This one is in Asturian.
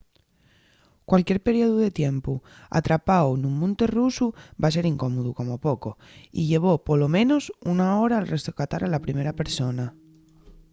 cualquier periodu de tiempu atrapáu nun monte rusu va ser incómodu como poco y llevó polo menos una hora’l rescatar a la primer persona.